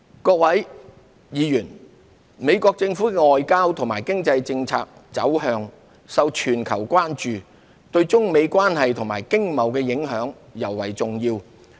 各位議員，美國政府的外交和經濟政策走向受全球關注，對中美關係和經貿的影響尤為重要。